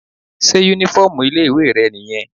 Sé uniform ilé ìwé rẹ̀ nìyẹn?